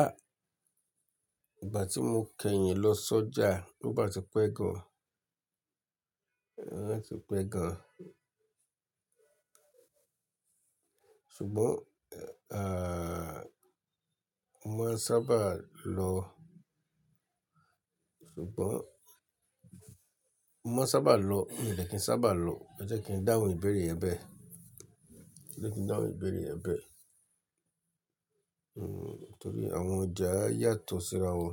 Ah! Ìgbà tí mo kẹ́yìn lọ sọ́jà, ó bá ti pẹ́ gan. Ó bá ti pẹ́ gan. Ṣùgbọ́n, ah, mo máa ń sábà lọ-- ṣùgbọ́n, mo máa ń sábà lọ, mi ò dẹ̀ kí ń sábà lọ, ẹ jẹ́ kí n dáhùn ìbéèrè ẹ bẹ́ẹ̀. Ẹ jẹ́ kí n dáhùn ìbéèrè ẹ bẹ́ẹ̀. Torí àwọn ọjà yàtọ̀ síra wọn.